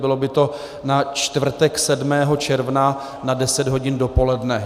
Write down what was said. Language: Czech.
Bylo by to na čtvrtek 7. června na 10 hodin dopoledne.